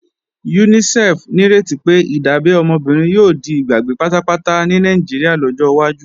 UNICEF nírètí pé, ìdábẹ́ ọmọ obìnrin yóò di ìgbàgbé pátápátá ní Nàìjíríà lọ́jọ́ wájú